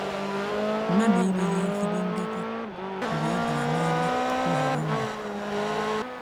Mmadu enweghị ezigbo ndekọ mgbe ọ bịara n’ime nhọrọ ndụ.